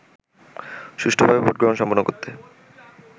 সুষ্ঠুভাবে ভোটগ্রহণ সম্পন্ন করতে